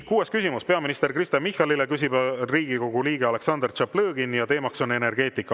Kuues küsimus on peaminister Kristen Michalile, küsib Riigikogu liige Aleksandr Tšaplõgin ja teema on energeetika.